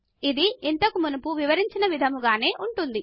ఇది ఇంతకు మునుపు వివరించిన విధముగానే చేయవచ్చు